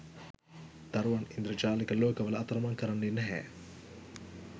දරුවන් ඉන්ද්‍රජාලික ලෝකවල අතරමං කරන්නේ නැහැ